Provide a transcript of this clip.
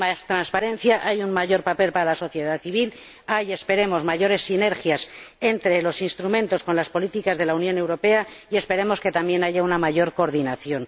Hay más transparencia, hay un mayor papel para la sociedad civil, hay —esperemos— mayores sinergias entre los instrumentos y las políticas de la Unión Europea, y esperemos que también haya una mayor coordinación.